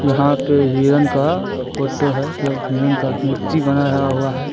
यहाँ पर हिरन का फोटो है जो हिरन का मूर्ति बनाया हुआ है।